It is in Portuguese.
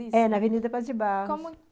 É, na Avenida Paz de Barros. Como